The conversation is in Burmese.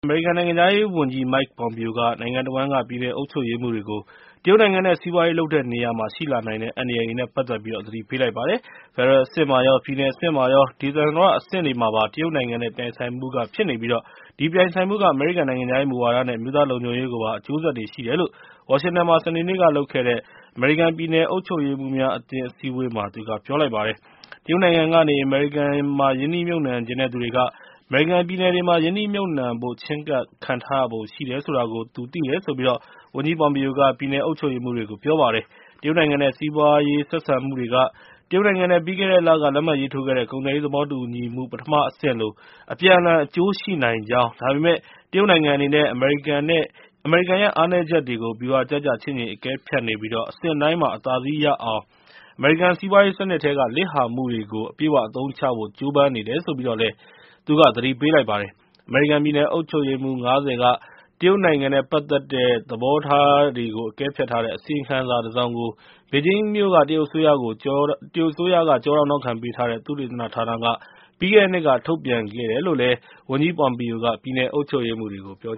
အမေရိကန် နိုင်ငံခြားရေးဝန်ကြီး Mike Pompeo က နိုင်ငံတဝှမ်းက ပြည်နယ်အုပ်ချုပ်ရေးမှူးတွေကို တရုတ်နိုင်ငံနဲ့ စီးပွားရေးလုပ်တဲ့နေရာမှာ ရှိလာနိုင်တဲ့ အန္တရာယ်တွေနဲ့ ပတ်သက်ပြီး သတိပေးလိုက်ပါတယ်။ ဖက်ဒရယ်အဆင့်မှာရော ပြည်နယ်အဆင့်မှာရော ဒေသန္တရအဆင့်တွေမှာပါ တရုတ်နိုင်ငံနဲ့ ပြိုင်ဆိုင်မှုဖြစ်နေပြီး အဲဒီပြိုင်ဆိုင်မှုက အမေရိကန် နိုင်ငံခြားရေးမူဝါဒနဲ့ အမျိုးသားလုံခြုံရေးကိုပါ အကျိုးဆက်တွေရှိတယ်လို့ ဝါရှင်တန်မှာ စနေနေ့က ပြုလုပ်တဲ့ အမေရိကန် ပြည်နယ်အုပ်ချုပ်ရေးမှူးများအသင်း အစည်းအဝေးမှာ သူက ပြောလိုက်ပါတယ်။ တရုတ်နိုင်ငံကနေ အမေရိကန်မှာ ရင်းနှီးမြှုပ်နှံချင်တဲ့သူတွေက အမေရိကန် ပြည်နယ်တွေမှာ ရင်းနှီးမြှုပ်နှံဖို့ ချဉ်းကပ်ခံထားရပုံရှိတယ် ဆိုတာကို သူသိတယ်လို့ ဝန်ကြီး Pompeo က ပြည်နယ်အုပ်ချုပ်ရေးမှူးတွေကို ပြောပါတယ်။ တရုတ်နိုင်ငံနဲ့ စီးပွားရေး ဆက်ဆံမှုတွေက တရုတ်နိုင်ငံနဲ့ ပြီးခဲ့တဲ့လက လက်မှတ်ရေးထိုးခဲ့တဲ့ ကုန်သွယ်ရေး သဘောတူညီမှု ပထမအဆင့်လို အပြန်အလှန် အကျိုးရှိနိုင်ကြောင်း၊ ဒါပေမယ့် တရုတ်နိုင်ငံအနေနဲ့ အမေရိကန်ရဲ့ အားနည်းချက်တွေကို ဗျူဟာကျကျ ချင့်ချိန်အကဲဖြတ်နေပြီး အဆင့်တိုင်းမှာ အသာစီးရအောင် အမေရိကန် စီးပွားရေးစနစ်ထဲက လစ်ဟာမှုတွေကို အပြည့်အ၀ အသုံးချဖို့ ကြိုးပမ်းနေတယ်လို့ သတိပေးလိုက်ပါတယ်။ အမေရိကန် ပြည်နယ်အုပ်ချုပ်ရေးမှူး ၅၀ က တရုတ်နိုင်ငံနဲ့ပတ်သက်တဲ့ သဘောထားတွေကို အကဲဖြတ်ထားတဲ့ အစီရင်ခံစာတစောင်ကို ဘေဂျင်းမြို့က တရုတ်အစိုးရ ကျောထောက်နောက်ခံပေးထားတဲ့ သုတေသနဌာနက ပြီးခဲ့တဲ့နှစ်မှာ ထုတ်ပြန်ခဲ့တယ်လို့ ဝန်ကြီး Pompeo က ပြည်နယ်အုပ်ချုပ်ရေးမှူးတွေကို ပြော